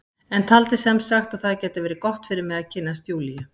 En taldi sem sagt að það gæti verið gott fyrir mig að kynnast Júlíu.